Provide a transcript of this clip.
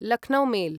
Lucknow mail